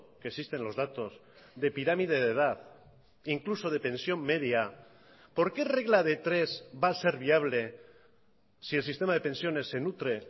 que existen los datos de pirámide de edad incluso de pensión media por qué regla de tres va a ser viable si el sistema de pensiones se nutre